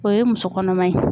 O ye muso kɔnɔma ye.